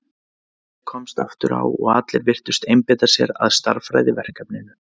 Kyrrð komst aftur á og allir virtust einbeita sér að stærðfræðiverkefninu.